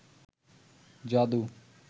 যাদু